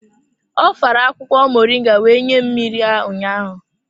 Ọ fara akwukwo moringa wee nye m mmiri ya ụnyaahụ.